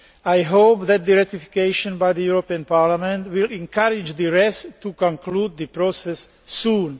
I hope that its ratification by the European Parliament will encourage the rest to conclude the process soon.